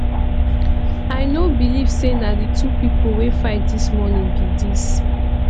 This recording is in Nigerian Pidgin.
i no believe say na the two people wey fight dis morning be dis